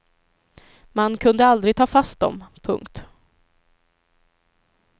Man kunde aldrig ta fast dem. punkt